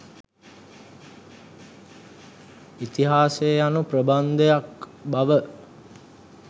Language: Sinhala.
ඉතිහාසය යනු ප්‍රබන්ධයක් බව